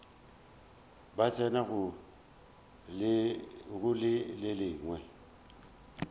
ba tsena go le lengwe